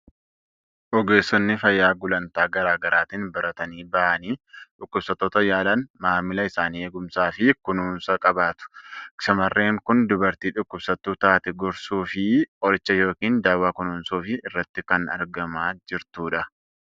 Ogeessonni fayyaa gulantaa garaa garaatiin baratanii bahanii dhukkubsattoota yaalan, maamila isaanii eegumsaa fi kunuunsaan qabatu. Shamarreen kun dubartii dhukkubsattuu taate gorsuu fi qoricha yookiin dawaa kennuufii irratti kan argamaa jirtudha.